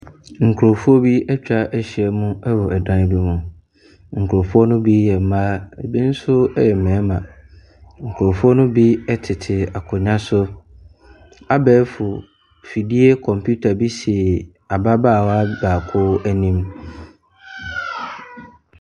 Nkurɔfoɔ bi atwa ahyia mu wɔ dan bi mu. Nurɔfoɔ no bi yɛ mmaa, ɛbi nso yɛ mmarima. Nkurɔfoɔ no bi tete akonwwa so. Abɛɛfo afidie compita bi si ababaawa baako anim.